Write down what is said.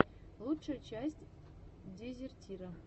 лучшая часть дезертира